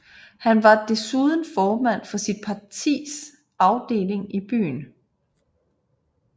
Han var desuden formand for sit partis afdeling i byen